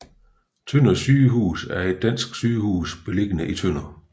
Tønder Sygehus er et dansk sygehus beliggende i Tønder